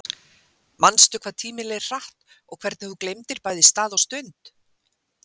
Manstu hvað tíminn leið hratt og hvernig þú gleymdir bæði stað og stund?